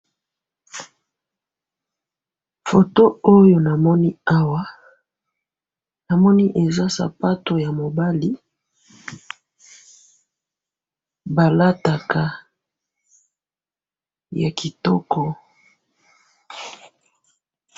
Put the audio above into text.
photo oyo namoni awa namoni eza sapatu ya mobali balataka ya kitoko